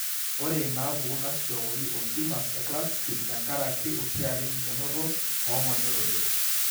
Ore inaapuku naisishokoki ontumors eKlatskin tenkaraki oshiake enkikenoto oong'onyo olodua.